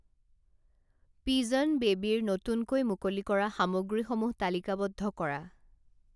Pigeon বেবীৰ নতুনকৈ মুকলি কৰা সামগ্ৰীসমূহ তালিকাবদ্ধ কৰা।